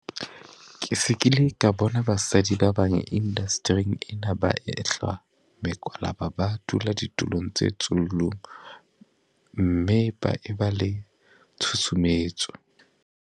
Ke se ke ile ka bona basadi ba bang indastering ena ba ehlwa mekwalaba ba dula ditulong tse tsullung mme ba e ba le tshusumetso.